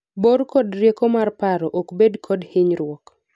bor kod rieko mar paro ok bed kod hinyruok